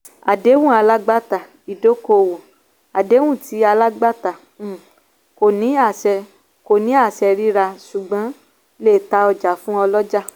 àdéhùn alágbàtà-ìdókòwò - àdéhùn tí alágbàtà um kò ní àṣẹ kò ní àṣẹ ríra ṣùgbọ́n lè ta ọjà fún ọlọ́jà.